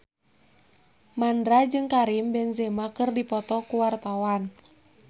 Mandra jeung Karim Benzema keur dipoto ku wartawan